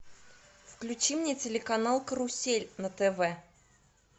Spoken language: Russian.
включи мне телеканал карусель на тв